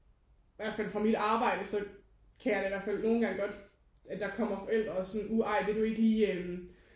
I hvert fald fra mit arbejde så kan jeg da i hvert fald nogen gange godt at der kommer forældre og sådan uh ej vil du ikke lige